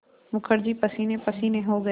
मुखर्जी पसीनेपसीने हो गया